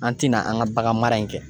An tɛna an ka bagan mara in kɛ.